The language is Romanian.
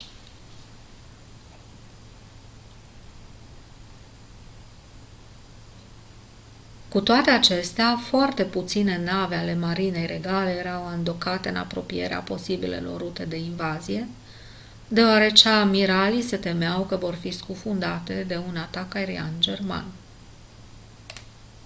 cu toate acestea foarte puține nave ale marinei regale erau andocate în apropierea posibilelor rute de invazie deoarece amiralii se temeau că vor fi scufundate de un atac aerian german